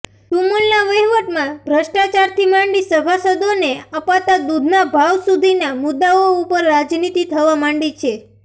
સુમુલના વહીવટમાં ભ્રષ્ટાચારથી માંડી સભાસદોને અપાતાં દૂધના ભાવ સુધીના મુદ્દાઓ ઉપર રાજનીતિ થવા માંડી છે